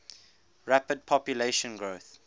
rapid population growth